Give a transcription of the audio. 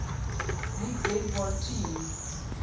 league baseball team